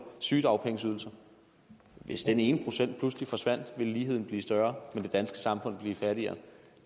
sygedagpenge hvis den ene procent pludselig forsvandt ville ligheden blive større men det danske samfund fattigere